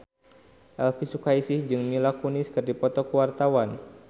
Elvy Sukaesih jeung Mila Kunis keur dipoto ku wartawan